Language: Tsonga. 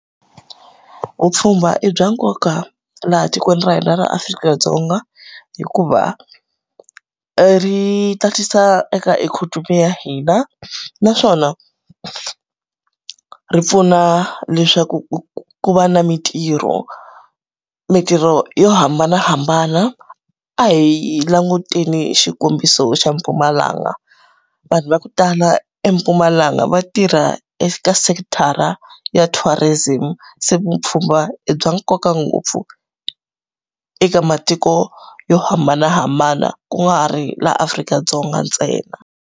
Vupfhumba i bya nkoka laha tikweni ra hina ra Afrika-Dzonga. Hikuva, ri tatisa eka ikhonomi ya hina, naswona ku ri pfuna leswaku ku va na mintirho. Mintirho yo hambanahambana, a hi languteni xikombiso xa Mpumalanga. Vanhu va ku tala eMpumalanga va tirha eka sekithara ya tourism, se vupfhumba i bya nkoka ngopfu eka matiko yo hambanahambana ku nga ri laha Afrika-Dzonga ntsena.